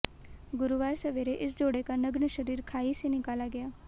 गुरुवार सवेरे इस जोड़े का नग्न शरीर खाई से निकाला गया